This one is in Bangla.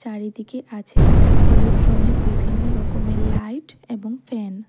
চারিদিকে আছে হলুদ রঙের বিভিন্ন রকমের লাইট এবং ফ্যান ।